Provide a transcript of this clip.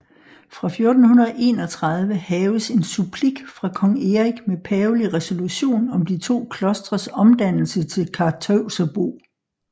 Fra 1431 haves en supplik fra kong Erik med pavelig resolution om de to klostres omdannelse til Karteuserbo